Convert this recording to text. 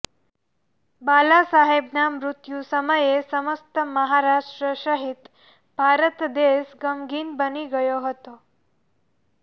બાલાસાહેબના મૃત્યુ સમયે સમસ્ત મહારાષ્ટ્ર સહિત ભારત દેશ ગમગીન બની ગયો હતો